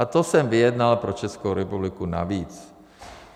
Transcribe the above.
A to jsem vyjednal pro Českou republiku navíc.